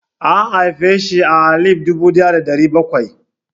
An haifeshi a alif dubu ɗaya da ɗari bakwai.